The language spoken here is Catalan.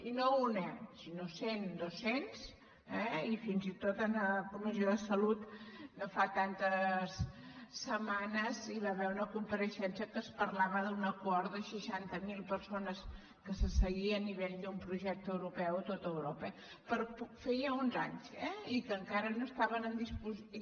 i no una sinó cent duescentes i fins i tot en la comissió de salut no fa tantes setmanes hi va haver una compareixença en què es parlava d’una cohort de seixanta mil persones que se seguien a nivell d’un projecte europeu a tot europa feia uns anys eh i que encara no estaven en disposició